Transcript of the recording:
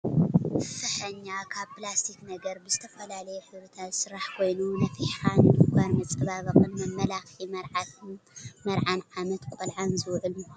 ፍሕኛ ካብ ፕላስቲክ ነገር ብዝተፈላለዩ ሕብርታት ዝስራሕ ኮይኑ ነፊሕካ ንድኳር መፀባበቅን መመላክዒ መርዓን ዓመት ቆልዓን ዝውዕል ምኳኑ ትፈልጡ ዶ ?